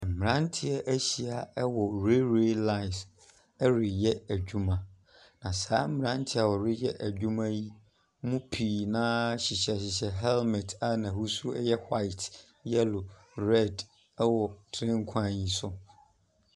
Mmaranteɛ ɛhyia wɔ railway line ɛyɛ adwuma na saa mmaranteɛ ɔyɛ adwuma yɛ mu piii na hyehyɛ hɛɛmɛte a na husuo ɛyɛ white yɛlo red ɛwɔ train kwan yɛ so.